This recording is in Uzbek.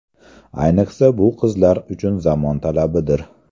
Ayniqsa, bu qizlar uchun zamon talabidir.